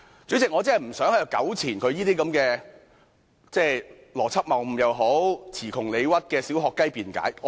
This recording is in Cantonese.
主席，我真的不想在此糾纏於何議員這些邏輯謬誤或詞窮理屈的"小學雞"辯解。